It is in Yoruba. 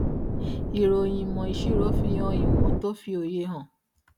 ìròyìn ìmò ìṣirò fihan ìwọn tó fi òye hàn